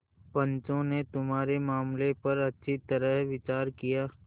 पंचों ने तुम्हारे मामले पर अच्छी तरह विचार किया